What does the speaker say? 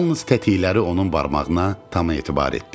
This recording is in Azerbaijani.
Yalnız tətikləri onun barmağına tam etibar etdi.